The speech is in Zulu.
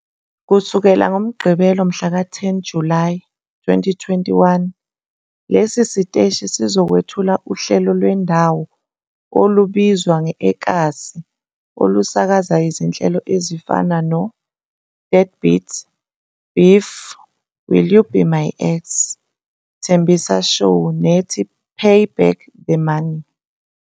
Kusukela ngoMgqibelo mhlaka-10 Julayi 2021, lesi siteshi sizokwethula uhlelo lwendawo olubizwa nge-eKasi olusakaza izinhlelo ezifana no-Deadbeats, Beef, Will You Be My Ex, Tembisa Show nethi Pay Back The Money.